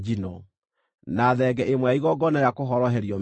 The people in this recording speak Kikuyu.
na thenge ĩmwe ya igongona rĩa kũhoroherio mehia;